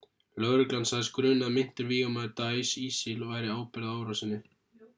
lögreglan sagðist gruna að meintur vígamaður daesh isil bæri ábyrgð á árásinni